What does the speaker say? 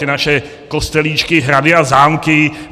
Ty naše kostelíčky, hrady a zámky.